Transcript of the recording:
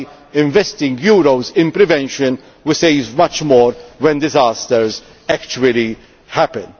By investing euros in prevention, we save much more when disasters actually